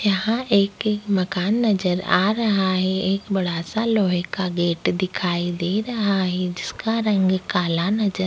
यहाँ एक-एक मकान नजर आ रहा है एक बड़ा-सा लोहे का गेट दिखाई दे रहा है जिसका रंग काला नजर --